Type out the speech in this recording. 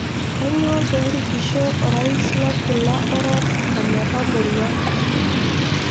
Kanyioo peerikisho Orais lolkila orok ometamorua?